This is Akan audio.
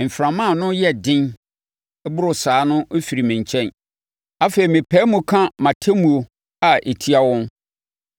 mframa a ano yɛ den boro saa no firi me nkyɛn. Afei, mepae mu ka mʼatemmuo a ɛtia wɔn.”